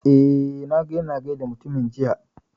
Eh, na ga ya na gaida mutumin jiya